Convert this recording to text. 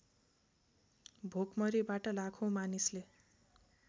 भोकमरीबाट लाखौँ मानिसले